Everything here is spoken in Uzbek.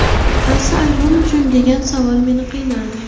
Qaysi aybim uchun, degan savol meni qiynardi.